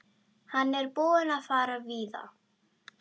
Hann er búinn að fara víða.